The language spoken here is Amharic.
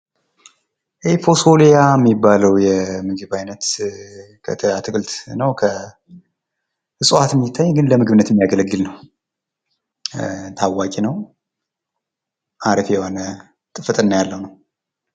ይህ ኮሶልያ የሚባለው የምግብ አይነት አትክልት ነው ።እፅዋት ለምግብነት የሚውል ነው። አሪፍ የሆነ ጥፍጥና ያለው ነው ።